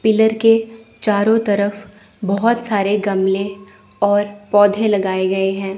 Pillar के चारों तरफ बहोत सारे गमले और पौधे लगाए गए हैं।